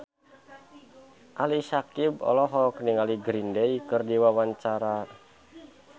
Ali Syakieb olohok ningali Green Day keur diwawancara